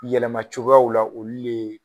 Yɛlɛma cogoyaw la